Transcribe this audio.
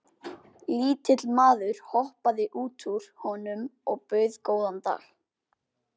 Lítill maður hoppaði út úr honum og bauð góðan dag.